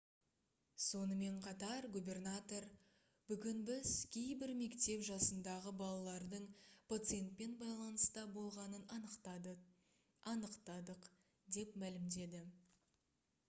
сонымен қатар губернатор: «бүгін біз кейбір мектеп жасындағы балалардың пациентпен байланыста болғанын анықтадық» деп мәлімдеді